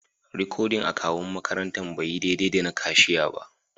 Rikodin akawu'n makarantan bai yi daidai da na kashiya ba.